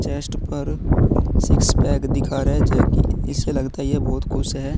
Chest पर six pack दिखा रहा है जो की इसे लगता है ये बहुत खुश है।